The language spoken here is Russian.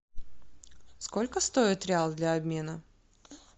сколько стоит реал для обмена